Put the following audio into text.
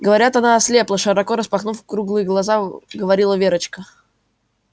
говорят она ослепла широко распахнув круглые глаза говорила верочка